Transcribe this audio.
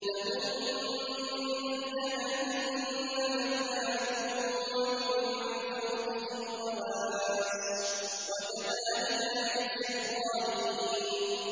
لَهُم مِّن جَهَنَّمَ مِهَادٌ وَمِن فَوْقِهِمْ غَوَاشٍ ۚ وَكَذَٰلِكَ نَجْزِي الظَّالِمِينَ